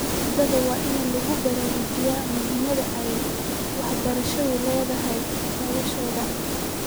Ardayda waa in lagu baraarujiyaa muhiimada ay waxbarashadu u leedahay noloshooda.